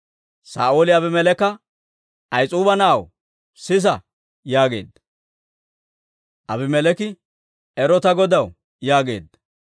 Saa'ooli Abimeleeka, «Ahis'uuba na'aw, sisa» yaageedda. Abimeleeki, «Ero ta godaw» yaageedda.